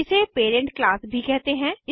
इसे parent class भी कहते हैं